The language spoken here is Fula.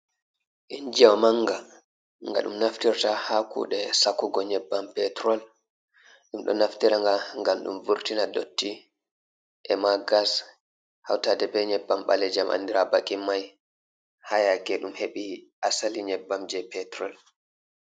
Injiwa manga, nga ɗum naftirta ha kuɗe Sakugo nyebbam Petrol, dum ɗo naftira nga ngam ɗum vurtina dotti, ema gas hautade be yebbam ɓalejam andira be bakin mai ha yake ɗum heɓi asali nyebbam je Petrol.